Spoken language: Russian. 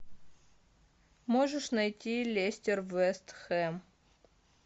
можешь найти лестер вестхэм